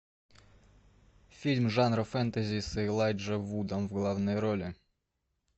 фильм жанра фэнтези с элайджа вудом в главной роли